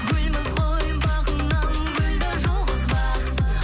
гүлміз ғой бағыңнан гүлді жұлғызба